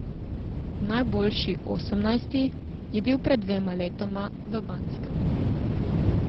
Najboljši, osemnajsti, je bil pred dvema letoma v Banskem.